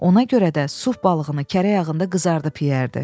Ona görə də suf balığını kərə yağında qızardıb yeyərdi.